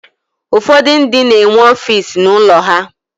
Ụfọdụ ndị na-enwe ọfiisi n'ụlọ ha.